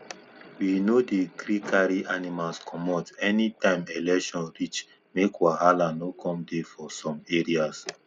we no dey gree carry animals commot anytime election reach make wahala no come dey for some areas